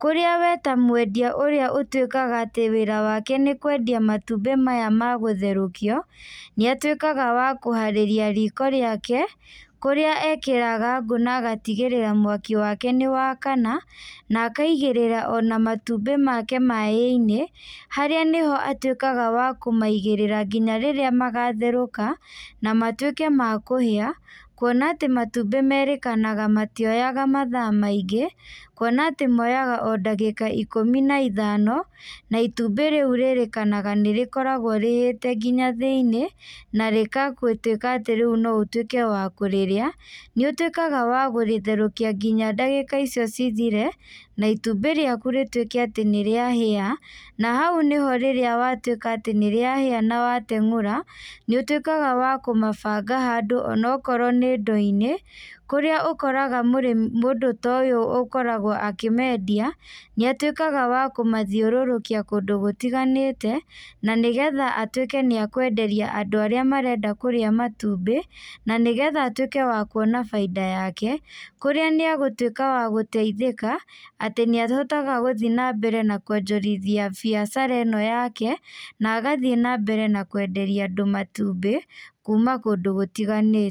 kũrĩa we ta mwendia ũrĩa ũtuĩkaga atĩ wĩra wake nĩkwendia matumbĩ maya magũtherũkio, nĩatuĩkaga wa kũharĩria riko rĩake, kũrĩa ekĩraga ngũ na agatigĩrĩra mwaki wake nĩwakana, na akaigĩrĩra ona matumbĩ make maĩ-inĩ, harĩa nĩho atuĩkaga wa kũmaigĩrĩra nginya rĩrĩa magatherũka, na matuĩke ma kũhĩa, kuona atĩ matumbĩ merĩkanaga matioyaga mathaa maingĩ, kuona atĩ moyaga o ndagĩka ikũmi na ithano, na itumbĩ rĩu rĩrĩkanaga nĩrĩkoragwo rĩhĩte nginya thĩiniĩ, na rĩgatuĩka atĩ rĩu no ũtuĩke wa kũrĩrĩa, nĩũtuĩkaga wa kũrĩtherukia nginya ndagĩka icio cithire, na itumbĩ rĩaku rĩtuĩke atĩ nĩrĩahĩa, na hau nĩho rĩrĩa watuĩka atĩ nĩrĩahĩa na watengũra, nĩũtuĩkaga wa kũmabanga handũ onokorwo nĩ ndo-inĩ, kũrĩa ũkoraga mũndũ ta ũyũ ũkoragwo akĩmendia, nĩatuĩkaga wa kũmathiũrũrũkia kũndũ gũtiganĩte, na nĩgetha atuĩke nĩakwenderia andũ arĩa marenda kũrĩa matumbĩ, na nĩgetha atuĩke wa kuona bainda yake, kũrĩa nĩagũtuĩka wa gũteithĩka, atĩ nĩahotaga gũthiĩ na mbere na kuonjorithia biacara ĩno yake, na agathiĩ na mbere namwenderia andũ matumbi, kuma kũndũ gũtiganĩte.